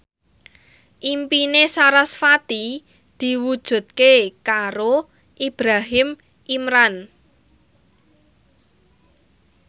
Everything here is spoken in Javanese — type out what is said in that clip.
impine sarasvati diwujudke karo Ibrahim Imran